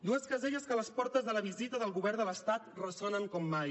dues caselles que a les portes de la visita del govern de l’estat ressonen com mai